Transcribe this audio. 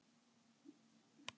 Helluhraun eru ávallt úr basalti.